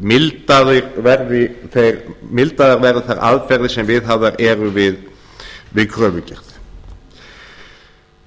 mildaðar verði þær aðferðir sem viðhafðar eru við kröfugerð